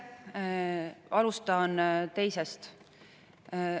Alustan teisest.